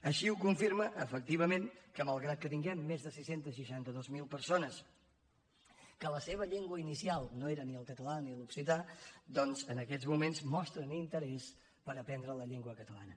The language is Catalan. així ho confirma efectivament que malgrat que tinguem més de sis cents i seixanta dos mil persones que la seva llengua inicial no era ni el català ni l’occità doncs en aquests moments mostren interès per aprendre la llengua catalana